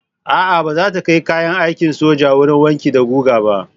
A'a, ba za ta kai kayan aikin sojan wurin wanki da guga ba.